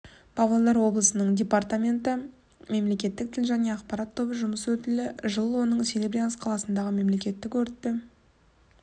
павлодар облысының департаменті мемлекеттік тіл және ақпарат тобы жұмыс өтілі жыл оның серебрянск қаласындағы мемлекеттік өртті